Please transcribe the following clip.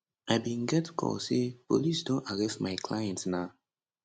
i bin get call say police don arrest my client na